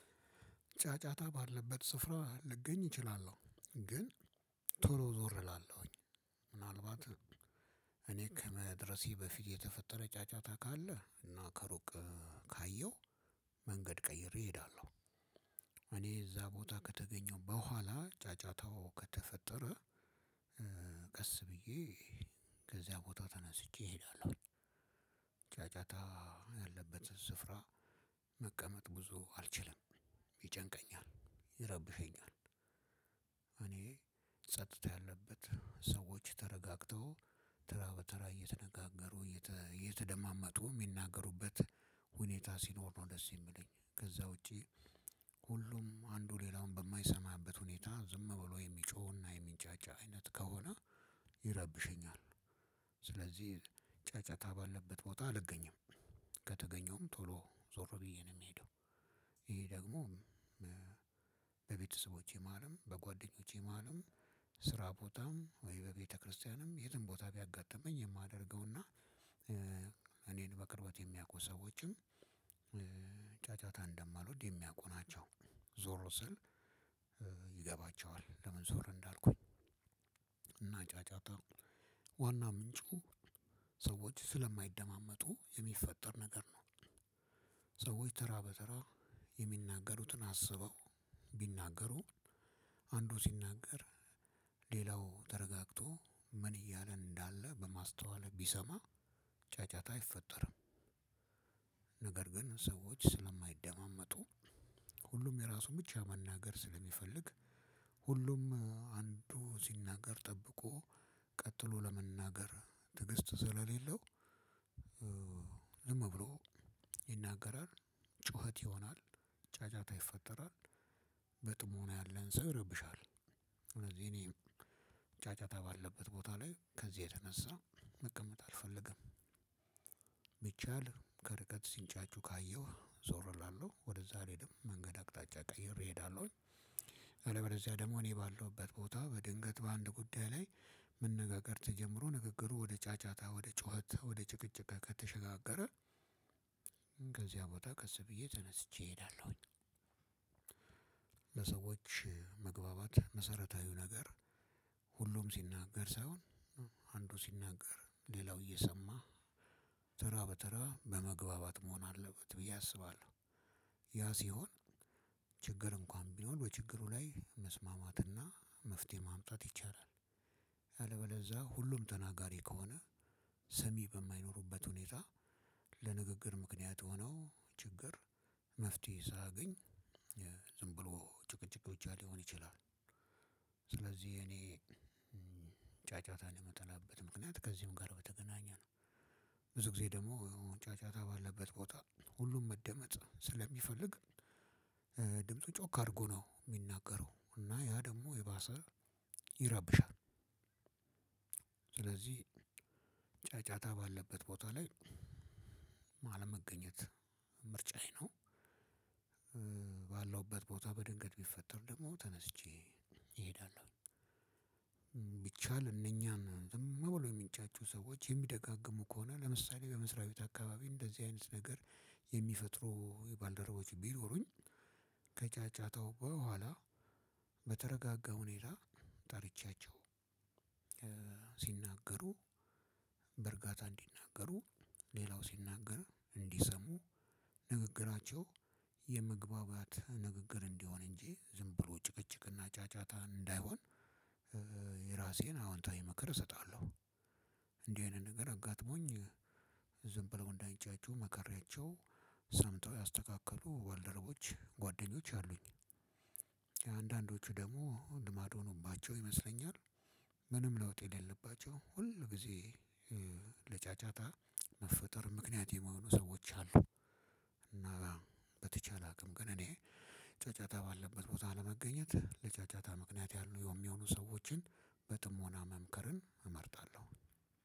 ጫጫታ ባለበት ስፍራ ልገኝ እችላለሁ ግን ቶሎ ዞር እላለሁኝ። ምናልባት እኔ ከመድረሴ በፊት የተፈጠረ ጫጫታ ካለ እና ከሩቅ ካየሁ መንገድ ቀይሬ እሄዳለሁ። እኔ እዛ ቦታ ከተገኘሁ በኋላ ጫጫታው ከተፈጠረ ቀስ ብዬ ከዚያ ቦታ ተነስቼ እሄዳለሁ። ጫጫታ ያለበት ስፍራ መቀመጥ ብዙ አልችልም ይጨንቀኛል ይረብሸኛል። እኔ ጸጥታ ያለበት ሰዎች ተረጋግተው ተራ በተራ እየተነጋገሩ እየተደማመጡ የሚናገሩበት ሁኔታ ሲኖር ነው ደስ የሚለኝ ከዛ ውጪ። ሁሉም አንዱ ሌላውን በማይሰማበት ሁኔታ ዝም ብሎ የሚጮህና የሚንጫጫ አይነት ከሆነ ይረብሸኛል። ስለዚህ ጫጫታ ባለበት ቦታ አልገኝም ከተገኘውም ቶሎ ዞሮ ብዬ ነው የምሄደው። ይሄ ደግሞ በቤተሰቦቼ ማልም በጓደኞቼ ማልም ስራ ቦታም ወይ በቤተክርስቲያንም የትም ቦታ ቢያጋጥመኝ የማደርገውና እኔን በቅርበት የሚያውቁ ሰዎችን ጫጫታ እንደማልወድ የሚያውቁ ናቸው። ዞሮ ስል ይገባቸዋል ለምን ዞሮ እንዳልኩኝ። እና ጫጫታ ዋና ምንጩ ሰዎች ስለማይደማመጡ የሚፈጠር ነገር ነው። ሰዎች ተራ በተራ የሚናገሩትን አስበው ቢናገሩ አንዱ ሲናገር ሌላው ተረጋግቶ ምን እያለ እንዳለ በማስተዋል ቢሰማ ጫጫታ አይፈጠርም። ነገር ግን ሰዎች ስለማይደማመጡ ሁሉም የራሱ ብቻ መናገር ስለሚፈልግ ሁሉም አንዱ ሲናገር ጠብቆ ቀጥሎ ለመናገር ትዕግስቱ ስለሌለው። ዝም ብሎ ይናገራል ጩኸት ይሆናል ጫጫታ ይፈጠራል። በጥሞና ያለን ሰው ይረብሻል ስለዚህ እኔ ጫጫታ ባለበት ቦታ ላይ ከዚህ የተነሳ መቀመጥ አልፈልግም። ቢቻል ከርቀት ሲንጫጩ ካየሁ ዞር እላለሁ ወደዛ አልሄድም መንገድ አቅጣጫ ቀይሬ እሄዳለሁኝ። አለበለዚያ ደግሞ እኔ ባለሁበት ቦታ በድንገት በአንድ ጉዳይ ላይ መነጋገር ተጀምሮ ንግግሩ ወደ ጫጫታ ወደ ጩኸት ወደ ጭቅጭቅ ከተሸጋገረ ከዚያ ቦታ ቀስብዬ ተነስቼ እሄዳለሁኝ። ለሰዎች መግባባት መሰረታዊው ነገር ሁሉም ሲናገር ሳይሆን አንዱ ሲናገር ሌላው እየሰማ ተራ በተራ በመግባባት መሆን አለበት ብዬ አስባለሁ። ያ ሲሆን ችግር እንኳን ቢኖር በችግሩ ላይ መስማማትና መፍትሄ ማምጣት ይቻላል። ያለበለዛ ሁሉም ተናጋሪ ከሆነ ሰሚ በማይኖሩበት ሁኔታ ለንግግር ምክንያት ሆነው ችግር መፍትሄ ሳገኝ ዝም ብሎ ጭቅጭቅ ብቻ ሊሆን ይችላል። ስለዚህ እኔ ጫጫታን የምጠላበት ምክንያት ከዚህም ጋር በተገናኘ ነው። ብዙ ጊዜ ደግሞ ጫጫታ ባለበት ቦታ ሁሉም መደመጥ ስለሚፈልግ ድምፁ ጮክ አድርጎ ነው የሚናገረው እና ያ ደግሞ የባሰ ይረብሻል። ስለዚህ ጫጫታ ባለበት ቦታ ላይ አለመገኘት ምርጫዬ ነው። ባለውበት ቦታ በድንገት ቢፈጠር ደግሞ ተነስቼ እሄዳለሁ። ቢቻል እነኛም ዝም ብሎ የሚንጫጩ ሰዎች የሚደጋግሙ ከሆነ ለምሳሌ በመስሪያ ቤት አካባቢ እንደዚህ አይነት ነገር የሚፈጥሩ የባልደረቦች ቢኖሩኝ ከጫጫታው በኋላ በተረጋጋ ሁኔታ ጠርቻቸው። ሲናገሩ በርጋታ እንዲናገሩ ሌላው ሲናገር እንዲሰሙ ንግግራቸው የመግባባት ንግግር እንዲሆን እንጂ ዝም ብሎ ጭቅጭቅና ጫጫታ እንዳይሆን የራሴን አዎንታዊ ምክር እሰጣለሁ። እንዲህ አይነት ነገር አጋጥሞኝ ዝም ብለው እንዳይንጫጩ መክሪያቸው ሰምተው ያስተካክሉ ባልደረቦች ጓደኞች አሉኝ። አንዳንዶቹ ደግሞ ልማድ ሆኑባቸው ይመስለኛል። ምንም ለውጥ የሌለባቸው ሁል ጊዜ ለጫጫታ መፈጠር ምክንያት የመሆኑ ሰዎች አሉ። እና በተቻለ አቅም ግን እኔ ጫጫታ ባለበት ቦታ ለመገኘት ለጫጫታ ምክንያት ያሉ የሚሆኑ ሰዎችን በጥሞና መምከርን እመርጣለሁ።